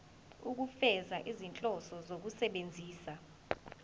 ukufeza izinhloso zokusebenzisa